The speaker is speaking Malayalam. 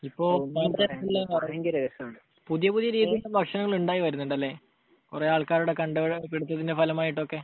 അപ്പോൾ പുതിയ പുതിയ രീതിയിലുള്ള ഭക്ഷണങ്ങൾ ഉണ്ടായി വരുന്നുണ്ട്. അല്ലെ? കുറെ ആൾക്കാരുടെ കണ്ടുപിടിത്തത്തിന്റെ ഫലമായിട്ടൊക്കെ?